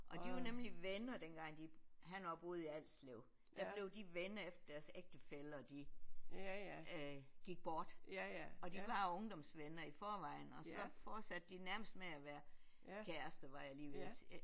Og de var nemlig venner dengang de han også boede i Alslev der blev de venner efter deres ægtefæller de øh gik bort og de var ungdomsvenner i forvejen og så fortsatte de nærmest med at være kærester var jeg lige ved at sige